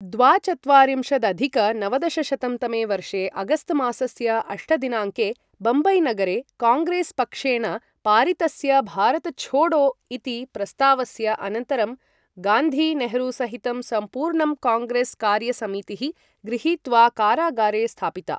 द्वाचत्वारिंशदधिक नवदशशतं तमे वर्षे अगस्तमासस्य अष्ट दिनाङ्के बम्बईनगरे काङ्ग्रेसपक्षेण पारितस्य भारत छोड़ो इति प्रस्तावस्य अनन्तरं गान्धी, नेहरूसहितं सम्पूर्णं काङ्ग्रेसकार्यसमितिः गृहीत्वा कारागारे स्थापिता ।